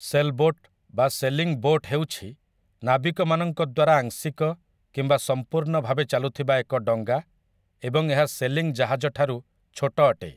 Sailboat ବା sailing boat ହେଉଛି ନାବିକମାନଙ୍କ ଦ୍ୱାରା ଆଂଶିକ କିମ୍ବା ସମ୍ପୂର୍ଣ୍ଣ ଭାବେ ଚାଲୁଥିବା ଏକ ଡଙ୍ଗା ଏବଂ ଏହା ସେଲିଂ ଜାହାଜ ଠାରୁ ଛୋଟ ଅଟେ ।